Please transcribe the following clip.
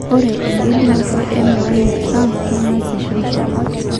'Ore engelunoto e Melania Trump keingaseisho.